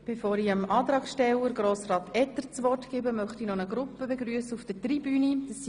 Bevor ich dem Antragsteller Grossrat Etter das Wort erteilte, möchte ich eine Gruppe auf der Tribüne begrüssen.